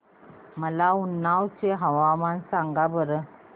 मला उन्नाव चे हवामान सांगा बरं